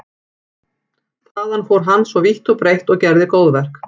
Þaðan fór hann svo vítt og breitt og gerði góðverk.